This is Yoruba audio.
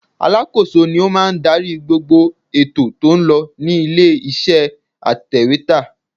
Alákòóso ni ó máa ń darí gbogbo ètò tó ń lọ ní ilé iṣẹ́ atèwétà.